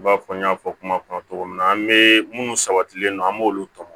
I b'a fɔ n y'a fɔ kuma kɔnɔ cogo min na an bɛ minnu sabatilen don an b'olu tɔmɔ